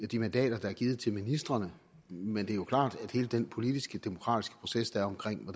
de mandater der er givet til ministrene men det er jo klart at hele den politiske demokratiske proces der